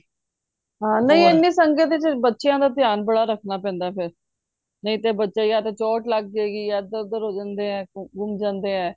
ਹਾਂ ਨਹੀਂ ਇਹਨੀ ਸੰਗਤ ਚ ਬੱਚਿਆਂ ਦਾ ਧਿਆਨ ਬੜਾ ਰੱਖਣਾ ਪੈਂਦਾ ਏ ਫੇਰ ਨਹੀਂ ਤੇ ਬੱਚਾ ਆ ਤੇ ਚੋਟ ਲੱਗ ਜੇ ਗਈ ਆ ਇਹਦਰ ਉਹਦਰ ਹੋ ਜਾਂਦੇ ਆ ਗੁੱਮ ਜਾਂਦੇ ਏ